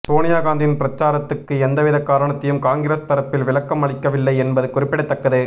சோனியா காந்தியின் பிரச்சாரத்துக்கு எந்தவித காரணத்தையும் காங்கிரஸ் தரப்பில் விளக்கம் அளிக்கவில்லை என்பது குறிப்பிடத்தக்கது